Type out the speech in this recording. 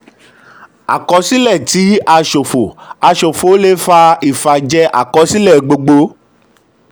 àkọsílẹ um tí a ṣòfò a ṣòfò le fà ìfàjẹ àkọsílẹ̀ gbogbo.